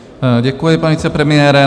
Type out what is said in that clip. Děkuji, pane vicepremiére.